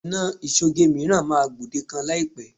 Ọ̀nà ìṣoge mìíràn máa gbòdekan láìpẹ́